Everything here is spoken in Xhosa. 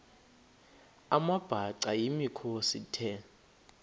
amabhaca yimikhosi the